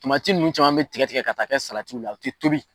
nunnu caman bi tigɛ tigɛ ka taa kɛ la u tɛ tobi